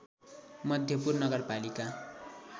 मध्यपुर नगरपालिका